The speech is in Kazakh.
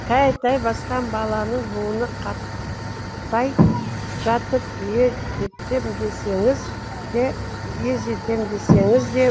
тәй тәй басқан баланың буыны қатпай жатып ер етем десеңіз де ез етем десеңіз де